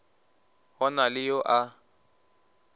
go na le yo a